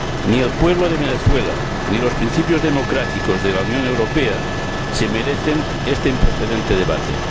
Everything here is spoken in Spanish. Ni el pueblo de Venezuela ni los principios democráticos de la Unión Europea se merecen este improcedente debate.